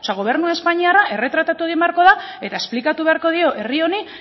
gobernu espainiarra erretratatu egin beharko da eta esplikatu beharko dio herri honi